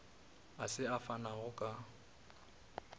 a se a fanago ka